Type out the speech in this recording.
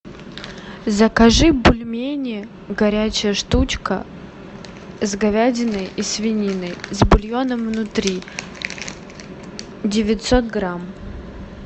закажи бульмени горячая штучка с говядиной и свининой с бульоном внутри девятьсот грамм